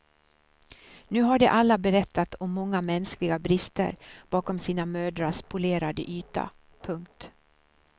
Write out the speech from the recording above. Nu har de alla berättat om många mänskliga brister bakom sina mödrars polerade yta. punkt